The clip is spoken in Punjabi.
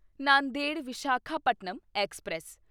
ਨਾਂਦੇੜ ਵਿਸ਼ਾਖਾਪਟਨਮ ਐਕਸਪ੍ਰੈਸ